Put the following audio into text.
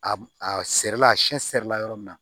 A a serila a siɲɛ sɛrila yɔrɔ min na